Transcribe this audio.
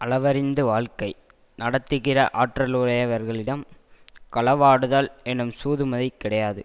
அளவறிந்து வாழ்க்கை நடத்துகிற ஆற்றலுடையவர்களிடம் களவாடுதல் எனும் சூதுமதி கிடையாது